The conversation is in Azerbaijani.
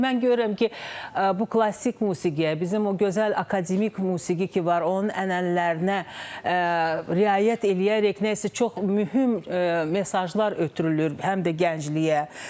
Yəni mən görürəm ki, bu klassik musiqiyə, bizim o gözəl akademik musiqi ki var, onun ənənələrinə riayət eləyərək nəsə çox mühüm mesajlar ötürülür həm də gəncliyə.